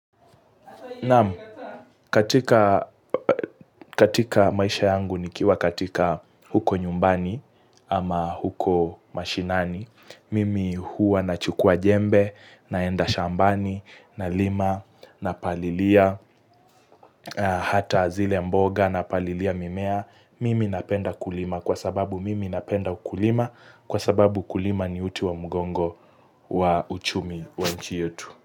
Naam, katika maisha yangu nikiwa katika huko nyumbani ama huko mashinani, mimi huwa nachukua jembe, naenda shambani, na lima, na palilia, hata zile mboga, na palilia mimea, mimi napenda kulima kwa sababu mimi napenda kulima kwa sababu kulima ni uti wa mgongo wa uchumi wa nchi yetu.